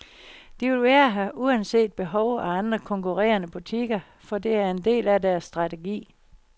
De vil være her uanset behov og andre konkurrerende butikker, for det er en del af deres strategi.